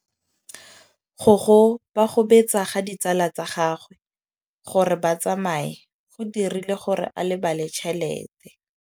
Go gobagobetsa ga ditsala tsa gagwe, gore ba tsamaye go dirile gore a lebale tšhelete.